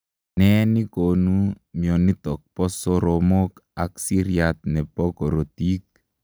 Ne nekonuu mionitok poo soromok ak siryat neboo korotik?